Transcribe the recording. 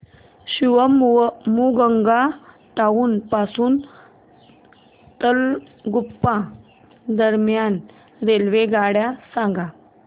Shivamogga town पासून तलगुप्पा दरम्यान रेल्वेगाड्या सांगा